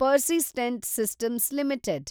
persistent Systems limited